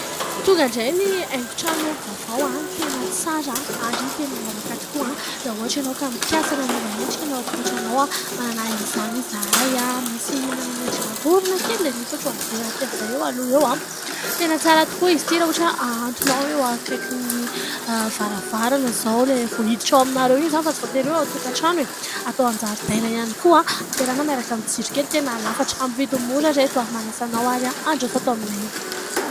Tonga indray ny haingon-trano vaovao tena tsara ary tena miavaka tokoa. Raha ohatra ianao ka mikasa ny hanova endrika ny ao an-tokatranonao, manana izany izahay. Misy manana endrika vorona kely dia misy ohatran'ny verakely izay eo aloha eo, tena tsara tokoa izy ity raha ohatra hoe ahantonao eo akaiky ny varavarana izao ilay vao hiditra ao aminareo iny izany fa tsy voatery hoe ao an-tokatrano e ! Atao ao an-jaridaina ihany koa ampiarahana miaraka amin'ny jiro kely, tena lafatra, amin'ny vidiny mora ry reto a ! Manasa anao ary aho handroso ato aminay.